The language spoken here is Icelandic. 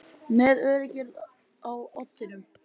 Með öryggið á oddinum